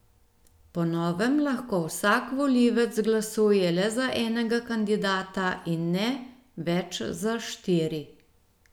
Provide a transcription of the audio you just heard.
Po novem lahko vsak volivec glasuje le za enega kandidata in ne več za štiri.